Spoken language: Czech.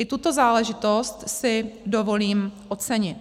I tuto záležitost si dovolím ocenit.